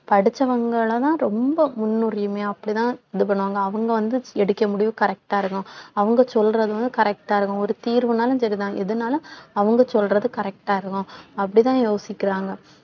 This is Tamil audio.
படிச்சவங்கல தான் ரொம்ப முன்னுரிமையா அப்படித்தான் இது பண்ணுவாங்க அவங்க வந்து எடுக்க முடிவு correct ஆ இருக்கும் அவங்க சொல்றது வந்து correct ஆ இருக்கும் ஒரு தீர்வுன்னாலும் சரிதான் எதுனாலும் அவங்க சொல்றது correct ஆ இருக்கும் அப்படித்தான் யோசிக்கிறாங்க